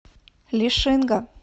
лишинга